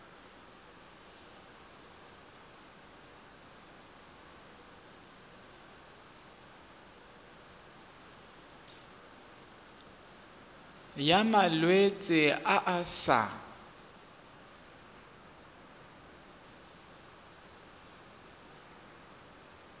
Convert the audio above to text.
ya malwetse a a sa